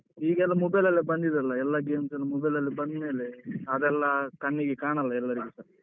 ಈಗೆಲ್ಲ mobile ಲೆಲ್ಲಾ ಬಂದಿದೆ ಅಲ್ಲ ಎಲ್ಲ games ಎಲ್ಲ mobile ಲಲ್ಲಿ ಬಂದ್ಮೇಲೆ ಅದೆಲ್ಲ ಕಣ್ಣಿಗೆ ಕಾಣಲ್ಲ ಎಲ್ಲರಿಗುಸ.